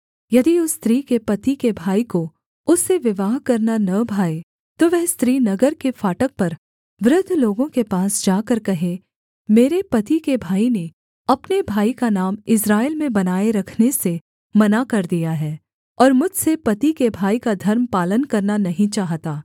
यदि उस स्त्री के पति के भाई को उससे विवाह करना न भाए तो वह स्त्री नगर के फाटक पर वृद्ध लोगों के पास जाकर कहे मेरे पति के भाई ने अपने भाई का नाम इस्राएल में बनाए रखने से मना कर दिया है और मुझसे पति के भाई का धर्म पालन करना नहीं चाहता